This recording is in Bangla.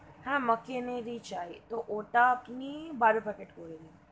Macken চাই তো ওটা আপনি বারো Packet করে দিন.